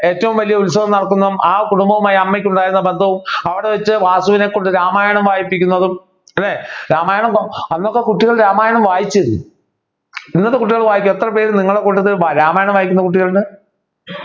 ഏറ്റവും വലിയ ഉത്സവം നടക്കുന്നതും ആ കുടുംബവുമായി അമ്മയ്ക്ക് ഉണ്ടായിരുന്ന ബന്ധവും അവിടെവച്ച് വാസുവിനെ കൊണ്ട് രാമായണം വായിപ്പിക്കുന്നതും അല്ലെ രാമായണം അന്നൊക്കെ കുട്ടികളെ രാമായണം വായിച്ചിരുന്നു ഇന്നത്തെ കുട്ടികള് വായിക്കാൻ എത്രപേർ നിങ്ങളുടെ കൂട്ടത്തിൽ രാമായണം വായിക്കുന്ന കുട്ടികളുണ്ട്